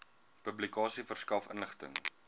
publikasie verskaf inligting